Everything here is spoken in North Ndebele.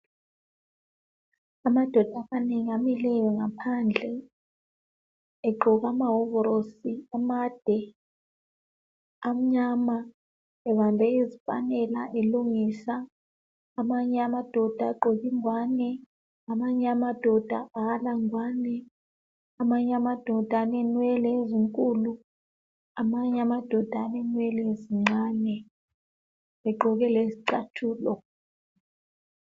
Amadoda amileyo ngaphandle egqoke amahovorosi amade amnyama ebambe izipanela elungisa amanye amadoda agqoke ingwane , amanye amadoda awala ngwani , amanye amadoda alenwele ezinkulu , amanye amadoda alenwele ezincane egqoke lezicathulo